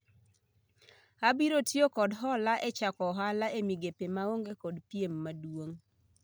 Abiro tiyo kod hola e chako ohala e migepe ma onge kod piem maduong'